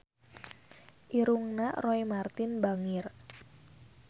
Irungna Roy Marten bangir